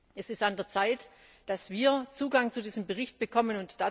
Es ist an der Zeit, dass wir Zugang zu diesem Bericht bekommen.